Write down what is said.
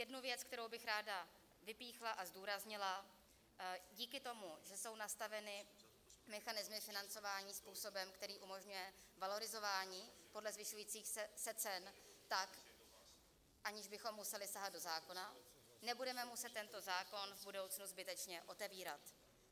Jednu věc, kterou bych ráda vypíchla a zdůraznila: díky tomu, že jsou nastaveny mechanismy financování způsobem, který umožňuje valorizování podle zvyšujících se cen tak, aniž bychom museli sahat do zákona, nebudeme muset tento zákon v budoucnu zbytečně otevírat.